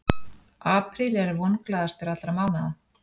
Apríl er vonglaðastur allra mánaða.